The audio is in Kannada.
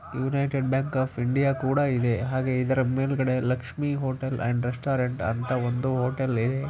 ಯೂನೈಟೆಡ್‌ ಬ್ಯಾಂಕ್‌ ಆಫ್‌ ಇಂಡಿಯಾ ಕೂಡ ಇದೆ ಹಾಗೂ ಇದರ ಮೇಲೆ ಲಕ್ಷ್ಮೀ ಹೋಟೆಲ್‌ ಅಂಡ್ ರೆಸ್ಟೋರೆಂಟ್‌ ಅಂತಾ ಒಂದು ಹೋಟೆಲ್‌ ಇದೆ.